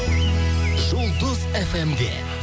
жұлдыз фм де